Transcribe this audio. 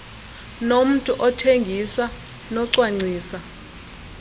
nommntu othengisa nocwangcisa